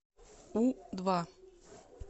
у два